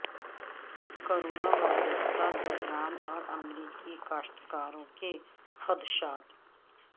corona virus کا بحران اور امریکی کاشتکاروں کے خدشات